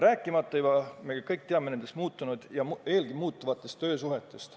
Rääkimata sellest, et me teame, kuidas on muutunud töösuhted ja muutuvad veel.